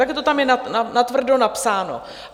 Takhle to tam je natvrdo napsáno.